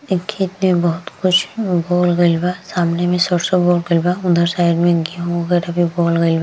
इ खेत में बहुत कुछ उगोल गइल बा सामने में सरसों उगोल गइल बा उधर साइड में गेहूँ वगेरह भी उगोल गइल बा।